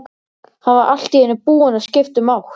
Hann var allt í einu búinn að skipta um átt.